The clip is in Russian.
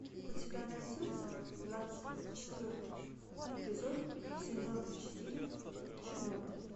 у тебя найдется двадцать четвертый эпизод сезона четыре чернобыль